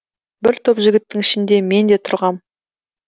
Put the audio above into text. бір топ жігіттің ішінде мен де тұрғам